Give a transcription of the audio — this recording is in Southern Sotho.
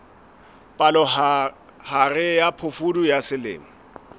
palohare ya phofudi ya selemo